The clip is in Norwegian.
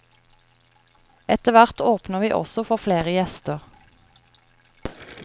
Etterhvert åpner vi også for flere gjester.